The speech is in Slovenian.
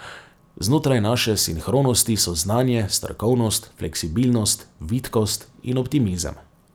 Znotraj naše sinhronosti so znanje, strokovnost, fleksibilnost, vitkost in optimizem.